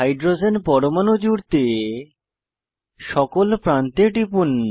hydrogen পরমাণু জুড়তে সকল প্রান্তে টিপুন